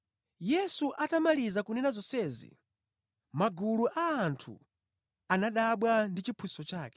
Yesu atamaliza kunena zonsezi, magulu a anthu anadabwa ndi chiphunzitso chake,